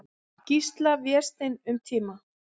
Gísla, Vésteinn, um tíma.